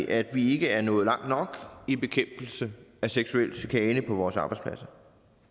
at vi ikke er nået langt nok i bekæmpelse af seksuel chikane på vores arbejdspladser